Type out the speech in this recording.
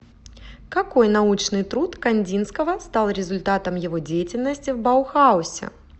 какой научный труд кандинского стал результатом его деятельности в баухаусе